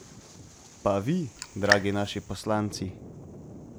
Pa vi, dragi naši poslanci?